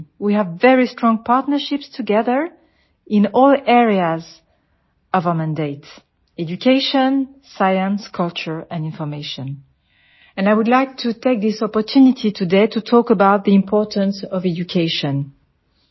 way have very strong partnerships together in all areas of our mandate education science culture and information and I would like to take this opportunity today to talk about the importance of education